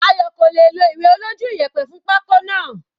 Ayo kò lè è lo ìwé olójú iyẹ̀pẹ̀ fún pako náà.